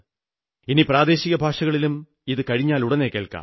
ഇനി പ്രാദേശിക ഭാഷകളിലും ഇതു കഴിഞ്ഞാലുടനെ കേൾക്കാം